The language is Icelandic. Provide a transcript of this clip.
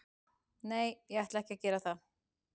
Nei, ég ætla ekki að gera það.